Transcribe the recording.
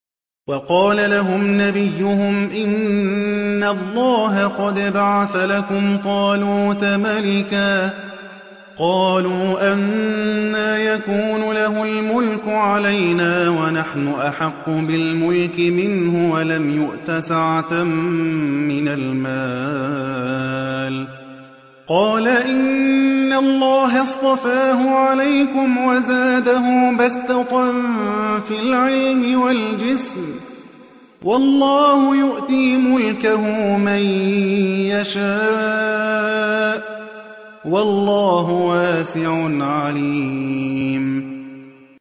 وَقَالَ لَهُمْ نَبِيُّهُمْ إِنَّ اللَّهَ قَدْ بَعَثَ لَكُمْ طَالُوتَ مَلِكًا ۚ قَالُوا أَنَّىٰ يَكُونُ لَهُ الْمُلْكُ عَلَيْنَا وَنَحْنُ أَحَقُّ بِالْمُلْكِ مِنْهُ وَلَمْ يُؤْتَ سَعَةً مِّنَ الْمَالِ ۚ قَالَ إِنَّ اللَّهَ اصْطَفَاهُ عَلَيْكُمْ وَزَادَهُ بَسْطَةً فِي الْعِلْمِ وَالْجِسْمِ ۖ وَاللَّهُ يُؤْتِي مُلْكَهُ مَن يَشَاءُ ۚ وَاللَّهُ وَاسِعٌ عَلِيمٌ